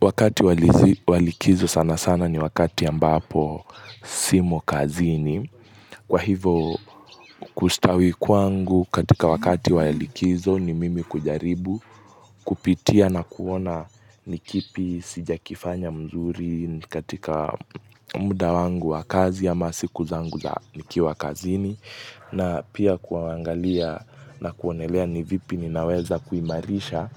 Wakati wa likizo sana sana ni wakati ambapo simo kazini. Kwa hivo kustawi kwangu katika wakati walikizo ni mimi kujaribu kupitia na kuona ni kipi sijakifanya mzuri katika muda wangu wakazi ama siku zangu za nikiwa kazini. Na pia kuangalia na kuonelea ni vipi ninaweza kuimarisha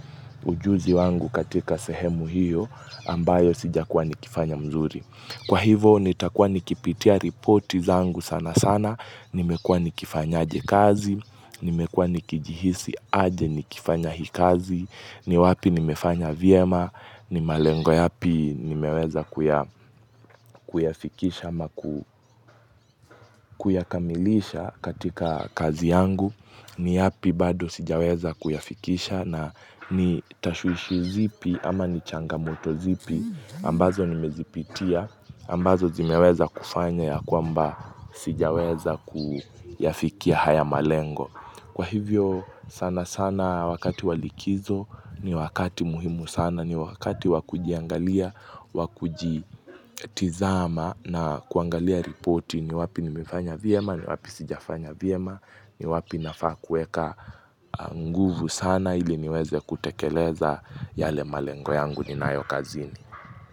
ujuzi wangu katika sehemu hiyo ambayo sijakuwa nikifanya mzuri. Kwa hivo nitakuwa nikipitia reporti zangu sana sana, nimekuwa nikifanyaje kazi, nimekuwa nikijihisi aje nikifanya hii kazi, ni wapi nimefanya vyema, ni malengo yapi nimeweza kuyafikisha ama kuyakamilisha katika kazi yangu ni yapi bado sijaweza kuyafikisha na ni tashwishi zipi ama ni changamoto zipi ambazo nimezipitia ambazo zimeweza kufanya ya kwamba sijaweza kuyafikia haya malengo Kwa hivyo sana sana wakati walikizo ni wakati muhimu sana ni wakati wa kujiangalia wa kujitizama na kuangalia ripoti ni wapi nimefanya vyema ni wapi sijafanya vyema ni wapi nafaa kuweka nguvu sana ili niweze kutekeleza yale malengo yangu ni nayo kazini.